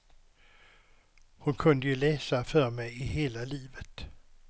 Hon kunde ju läsa för mig hela livet.